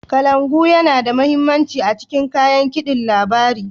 kalangu Yana da mahimmanci a cikin kayan kidin labari.